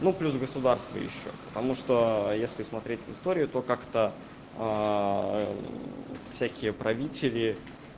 ну плюс государство ещё потому что если смотреть в историю то как-то всякие правители